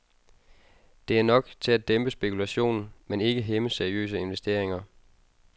Det er nok til at dæmpe spekulationen, men ikke hæmme seriøse investeringer.